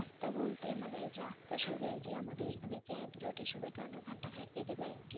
রাস্তা বলতে মানে রাস্তা সোজা আমাদের এখানে জ্যাম জটের এসবের কারণে ঘন্টা খানেক লেগে যায় আরকি